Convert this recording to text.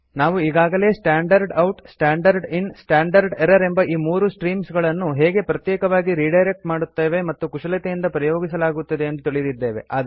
ನಾವು ಈಗಾಗಲೇ standard out standard in standard error ಎಂಬ ಈ ಮೂರು ಸ್ಟ್ರೀಮ್ಸ್ ಗಳನ್ನು ಹೇಗೆ ಪ್ರತ್ಯೇಕವಾಗಿ ರಿಡೈರೆಕ್ಟ್ ಮತ್ತು ಕುಶಲತೆಯಿಂದ ಪ್ರಯೋಗಿಸಲಾಗುತ್ತದೆ ಎಂದು ತಿಳಿದಿದ್ದೇವೆ